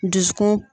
Dusukun